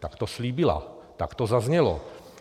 Tak to slíbila, tak to zaznělo.